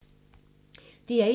DR1